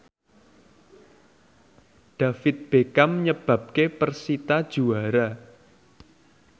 David Beckham nyebabke persita juara